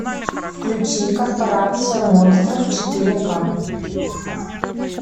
включи корпорация монстров четыре ка